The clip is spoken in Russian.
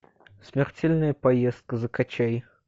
смертельная поездка закачай